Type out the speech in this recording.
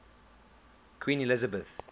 queen elizabeth